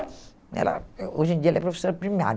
Ela eh hoje em dia, ela é professora primária.